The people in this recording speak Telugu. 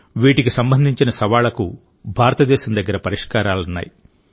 వీటికి సంబంధించిన సవాళ్లకు భారతదేశం దగ్గర పరిష్కారాలున్నాయి